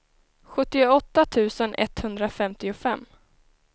sjuttioåtta tusen etthundrafemtiofem